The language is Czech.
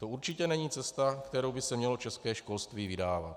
To určitě není cesta, kterou by se mělo české školství vydávat.